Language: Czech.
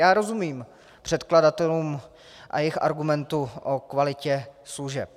Já rozumím předkladatelům a jejich argumentu o kvalitě služeb.